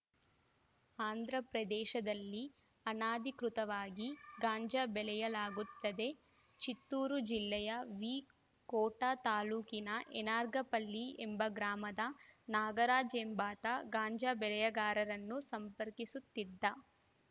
ಆಂಧ್ರಪ್ರದೇಶದಲ್ಲಿ ಅನಧಿಕೃತವಾಗಿ ಗಾಂಜಾ ಬೆಳೆಯಲಾಗುತ್ತದೆ ಚಿತ್ತೂರು ಜಿಲ್ಲೆಯ ವಿಕೋಟಾ ತಾಲೂಕಿನ ಎರ್ನಾಗಪಲ್ಲಿ ಎಂಬ ಗ್ರಾಮದ ನಾಗರಾಜ್‌ ಎಂಬಾತ ಗಾಂಜಾ ಬೆಳೆಗಾರರನ್ನು ಸಂಪರ್ಕಿಸುತ್ತಿದ್ದ